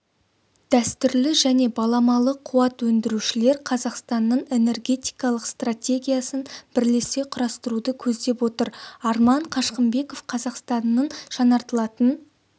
дәстүрлі және баламалы қуат өндірушілер қазақстанның энергетикалық стратегиясын бірлесе құрастыруды көздеп отыр арман қашқынбеков қазақстанның жаңартылатын